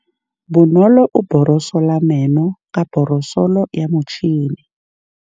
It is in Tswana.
Bonolô o borosola meno ka borosolo ya motšhine.